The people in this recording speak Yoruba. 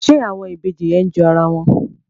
ṣe àwọn Ìbejì yẹn jọ ara wọn?